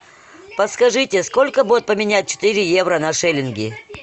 подскажите сколько будет поменять четыре евро на шиллинги